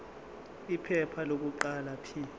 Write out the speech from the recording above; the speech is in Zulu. iphepha lokuqala p